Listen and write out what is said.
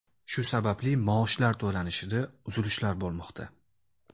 Shu sababli maoshlar to‘lanishida uzilishlar bo‘lmoqda.